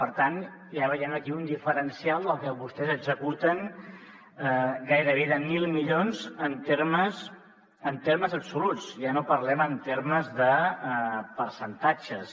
per tant ja veiem aquí un diferencial del que vostès executen gairebé de mil milions en termes absoluts ja no parlem en termes de percentatges